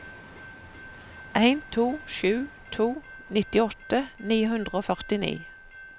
en to sju to nittiåtte ni hundre og førtini